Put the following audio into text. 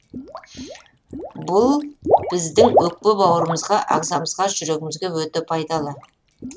бұл біздің өкпе бауырымызға ағзамызға жүрегімізге өте пайдалы